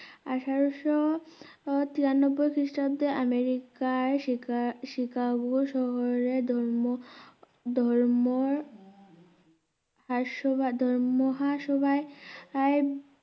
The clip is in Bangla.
আঠেরোশো তিরানবোই খ্রিস্টাব্দে আমিরিকার শিকা~শিকাগো শহরের ধর্ম ধর্ম হার সভার ধর মহাসভাই আই